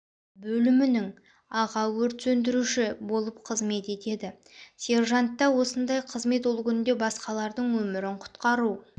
бөлімінің аға өрт сөндіруші болып қызмет етеді сержантта осындай қызмет ол қүнде басқалардың өмірін құтқару